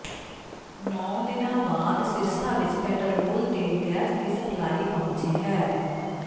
ਨੌਂ ਦਿਨਾਂ ਬਾਅਦ ਸਿਰਸਾ ਵਿੱਚ ਪੈਟਰੋਲ ਤੇ ਗੈਸ ਦੀ ਸਪਲਾਈ ਪਹੁੰਚੀ ਹੈ